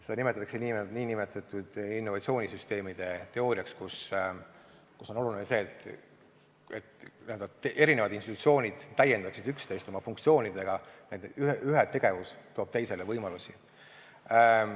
Seda nimetatakse innovatsioonisüsteemide teooriaks, kus on oluline, et eri institutsioonid täiendaksid üksteist oma funktsioonidega, nii et ühe tegevus loob teisele võimalusi.